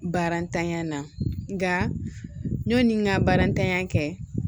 Barantanya na nka nɔni n ka baara ntanya kɛ